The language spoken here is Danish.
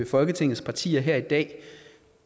folketingets partier her i dag